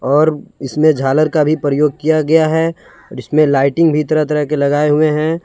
और इसमें झालर का भी प्रयोग किया गया है इसमें लाइटिंग भी तरह तरह के लगाए हुए हैं।